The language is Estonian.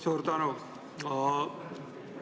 Suur tänu!